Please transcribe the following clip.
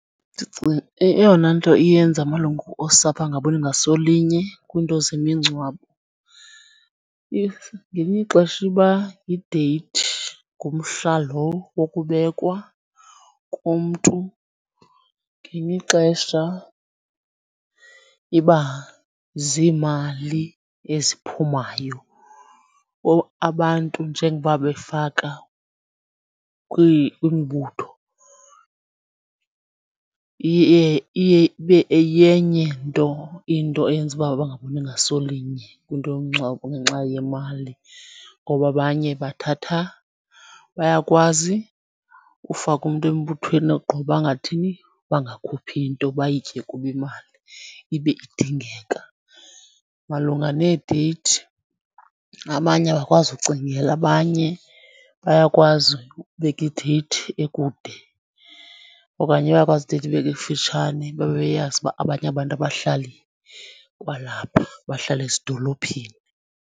Eyona nto iyenza amalungu osapho angaboni ngaso linye kwinto zemingcwabo ngelinye ixesha iba yideyithi, ngumhla lo wokubekwa komntu. Ngelinye ixesha iba ziimali eziphumayo, abantu njengoba befaka kwimibutho iye ibe yenye into eyenza uba bangaboni ngaso linye kwinto yomngcwabo ngenxa yemali. Ngoba abanye bathatha bayakwazi ufaka umntu embuthweni ogqiba bangathini, bangakhuphi nto bayitye kubo imali ibe idingeka. Malunga needeyithi abanye abakwazi ucingela abanye, bayakwazi ukubeka ideyithi ekude okanye bayakwazi ideyithi ibekwe kufutshane babe beyazi uba abanye abantu abahlali kwalapha bahlala ezidolophini.